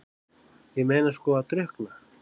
Ég meina sko að drukkna?